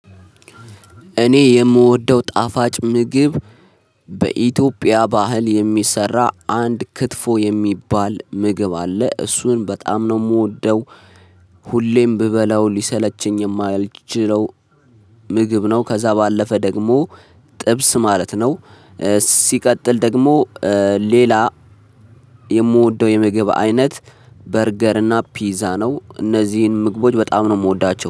እኔ የምወደው ጣፋጭ ምግብ በኢትዮጵያ ባህል የሚሰራ አንድ ክትፎ የሚባል ምግብ አለ። እሱን በጣም ነው የምወደው። ሁሌም ብበላው ሊሰለቸኝ የማያልችለው ምግብ ነው ከዛ ባለፈ ደግሞ ጥብስ ማለት ነው ሲቀጥል ደግሞ ሌላ የምወደው የምግብ አይነት በርገር እና ፒዛ ነው። እነዚህን ምግቦች በጣም ነው የምወዳቸው።